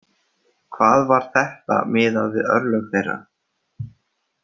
Hvað var þetta miðað við örlög þeirra?